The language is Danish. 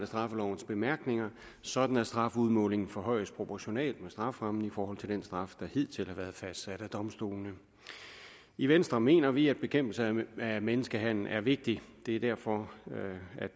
straffelovens bemærkninger sådan at strafudmålingen forhøjes proportionalt med strafferammen i forhold til den straf der hidtil har været fastsat af domstolene i venstre mener vi at bekæmpelse af menneskehandel er vigtigt det er derfor